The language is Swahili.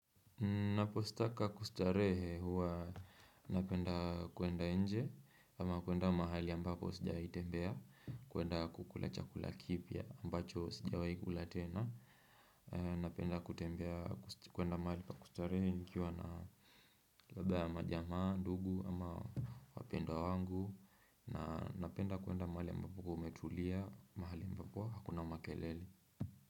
Ninapostaka kustarehe huwa napenda kuenda nje ama kuenda mahali ambapo sija itembea kuenda kukula chakula kipya ambacho sijawaikula tena Napenda kutembea kuenda mahali pa kustarehe nkiwa na labda ya majamaa, ndugu ama wapendwa wangu na napenda kuenda mahali ambapo umetulia mahali ambapo hakuna makelele.